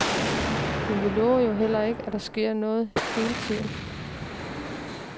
Men vi lover jo heller ikke, at der sker noget hele tiden.